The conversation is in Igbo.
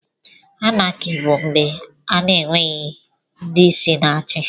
Anákị bù mgbè a n'enweghị ndị isi na-achị